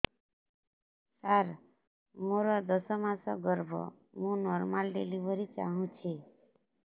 ସାର ମୋର ଦଶ ମାସ ଗର୍ଭ ମୁ ନର୍ମାଲ ଡେଲିଭରୀ ଚାହୁଁଛି